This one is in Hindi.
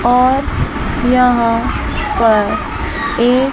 और यहां पर एक।